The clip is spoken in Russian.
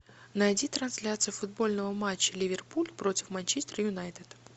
найди трансляцию футбольного матча ливерпуль против манчестер юнайтед